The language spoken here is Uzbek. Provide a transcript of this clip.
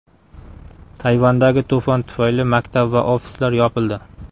Tayvandagi to‘fon tufayli maktab va ofislar yopildi.